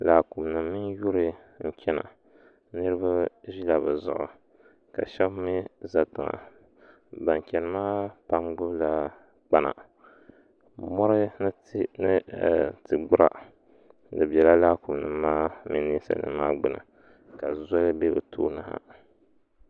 Laakumi nima mini yuri n chena niriba ʒila bɛ zuɣu ka sheba mee za tiŋa ban cheni maa pam gbibi la kpana mori ni ti'gbura di bela laakuma nima maa ni ninsalinima maa gbini ka zoli be bɛ tooni ha.